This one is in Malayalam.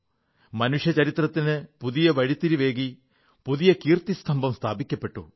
മനുഷ്യചരിത്രത്തിന് പുതിയ വഴിത്തിരിവേകി പുതിയ കീർത്തിസ്തംഭം സ്ഥാപിക്കപ്പെട്ടു